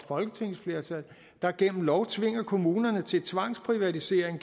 folketingsflertal der gennem lov tvinger kommunerne til tvangsprivatisering